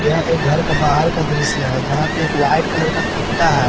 यह एक घर का बाहर का दृश्य है जहां पर एक वाइट कलर का कुत्ता है।